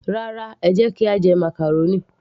Rárá, ẹ jẹ́ kí a jẹ màcàrónì